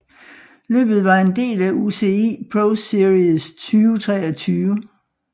Løbet var en del af UCI ProSeries 2023